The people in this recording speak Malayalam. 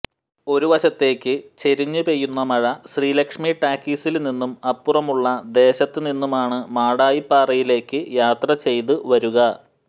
ഒരു വശത്തേക്ക് ചെരിഞ്ഞു പെയ്യുന്ന മഴ ശ്രീലക്ഷ്മി ടാക്കീസില് നിന്നും അപ്പുറമുള്ള ദേശത്ത് നിന്നുമാണ് മാടായിപ്പാറയിലേക്ക് യാത്ര ചെയ്ത് വരുക